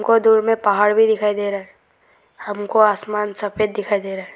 कुछ दूर में पहाड़ दिखाई दे रहा है हमको आसमान सफेद दिखाई दे रहा है।